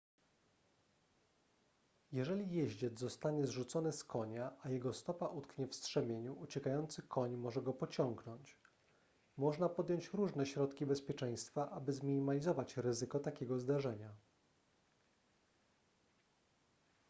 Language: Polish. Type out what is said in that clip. jeżeli jeździec zostanie zrzucony z konia a jego stopa utknie w strzemieniu uciekający koń może go pociągnąć można podjąć różne środki bezpieczeństwa aby zminimalizować ryzyko takiego zdarzenia